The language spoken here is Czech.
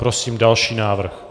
Prosím další návrh.